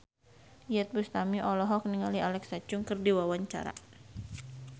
Iyeth Bustami olohok ningali Alexa Chung keur diwawancara